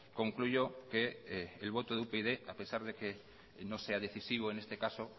concluyo que el voto de upyd a pesar de que no sea decisivo en este caso